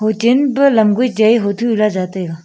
hochen an pa lam goI chaI a hoto hu lah ja taiga.